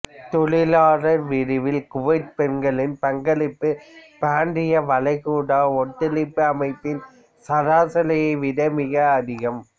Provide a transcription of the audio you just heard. தொழிலாளர் விரிவில் குவைத் பெண்களின் பங்களிப்பு பிராந்திய வளைகுடா ஒத்துழைப்பு அமைப்பின் சராசரியை விட மிக அதிகம்